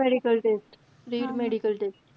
Premedical test Premedical test.